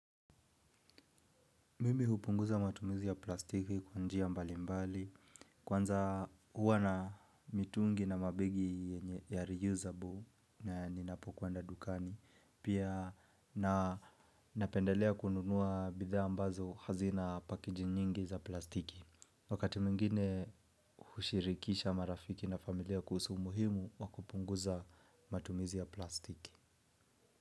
Mimi hupunguza matumizi ya plastiki kwa njia mbali mbali. Kwanza huwa na mitungi na mabegi ya reusable na ninapo kwenda dukani. Pia na napendelea kununuwa bidhaa ambazo hazina pakiji nyingi za plastiki. Wakati mwingine hushirikisha marafiki na familia kuhusu umuhimu wa kupunguza matumizi ya plastiki.